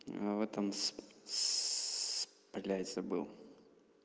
в этом сс блять забыл